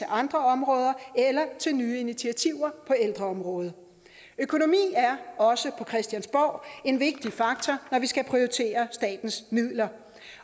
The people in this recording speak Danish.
andre områder eller til nye initiativer på ældreområdet økonomi er også på christiansborg en vigtig faktor når vi skal prioritere statens midler